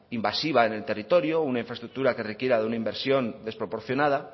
invasiva en el territorio una infraestructura que requiera de una inversión desproporcionada